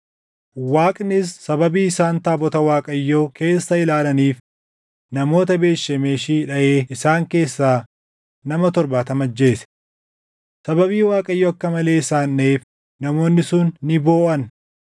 Waaqnis sababii isaan taabota Waaqayyoo keessa ilaalaniif namoota Beet Shemeshi dhaʼee isaan keessaa nama torbaatama ajjeese. Sababii Waaqayyo akka malee isaan dhaʼeef namoonni sun ni booʼan;